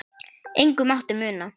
Engu mátti muna.